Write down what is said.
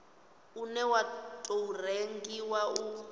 une wa tou rengiwa u